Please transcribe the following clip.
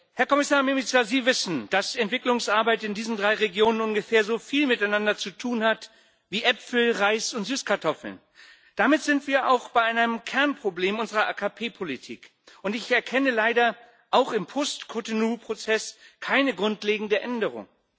Herr Kommissar Mimica, Sie wissen, dass Entwicklungsarbeit in diesen drei Regionen ungefähr so viel miteinander zu tun hat wie Äpfel, Reis und Süßkartoffeln. Damit sind wir auch bei einem Kernproblem unserer AKP Politik, und ich erkenne leider auch im Post Cotonou Prozess keine grundlegende Änderung.